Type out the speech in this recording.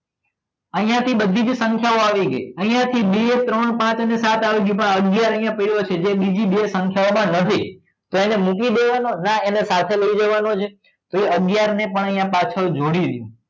અહીંયા થી જે બધી જ સંખ્યાઓ આવી ગઈ અહીંયા બે ત્રણ પાંચ સાત પણ અગિયાર અહીંયા પહેલો છે જે બીજી બે સંખ્યાઓમાં નથી તો એને મૂકી દેવાનો ના એને સાથે લઈ જવાનો છે તો એ અગિયાર ને પણ પાછળ જોડી દો